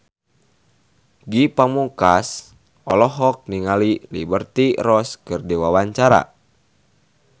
Ge Pamungkas olohok ningali Liberty Ross keur diwawancara